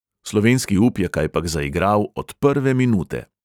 Slovenski up je kajpak zaigral od prve minute.